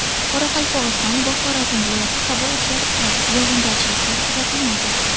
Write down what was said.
Qoraqalpog‘iston va Xorazm viloyati Havo o‘zgarib turadi, yog‘ingarchiliklar kuzatilmaydi.